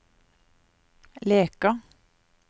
Leka